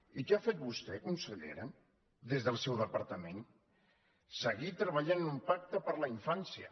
i què ha fet vostè consellera des del seu departament seguir treballant en un pacte per la infància